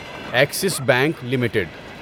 Axis bank limited